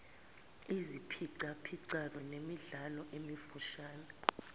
iziphicaphicwano nemidlalo emifushane